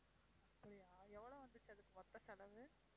அப்படியா எவ்ளோ வந்துச்சு அதுக்கு மொத்த செலவு?